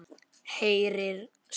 Heyrir samt.